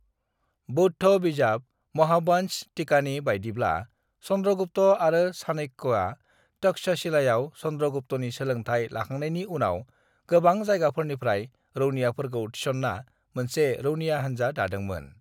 "बौद्ध बिजाब महावंश टीकानि बायदिब्ला, चन्द्रगुप्त आरो चाणक्यया तक्षशिलायाव चन्द्रगुप्तनि सोलोंथाय लाखांनायनि उनाव गोबां जायगाफोरनिफ्राय रौनियाफोरखौ थिसन्ना मोनसे रौनिया हानजा दादोंमोन।"